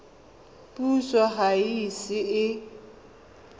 puso ga e ise e